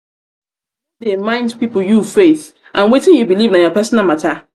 no dey mind pipu you faith and wetin you beliv na your personal mata.